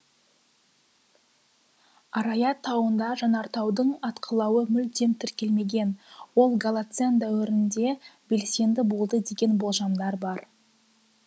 араят тауында жанартаудың атқылауы мүлдем тіркелмегең ол голоцен дәуірінде белсенді болды деген болжамдар бар